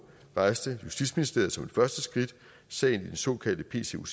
rejste justitsministeriet som det første skridt sagen i den såkaldte pc oc